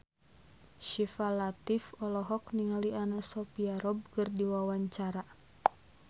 Syifa Latief olohok ningali Anna Sophia Robb keur diwawancara